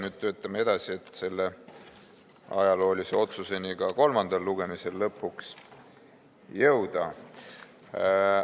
Nüüd töötame edasi, et selle ajaloolise otsuseni ka kolmandal lugemisel lõpuks jõuda.